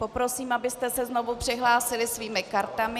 Poprosím, abyste se znovu přihlásili svými kartami.